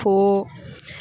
Ko